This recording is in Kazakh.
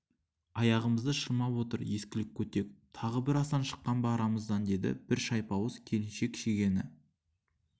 аяғымызды шырмап отыр ескілік көтек тағы бір асан шыққан ба арамыздан деді бір шайпауыз келіншек шегені